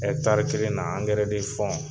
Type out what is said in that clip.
kelen na angɛrɛ